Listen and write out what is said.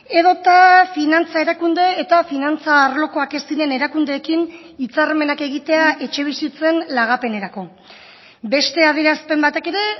edota finantza erakunde eta finantza arlokoak ez diren erakundeekin hitzarmenak egitea etxebizitzen lagapenerako beste adierazpen batek ere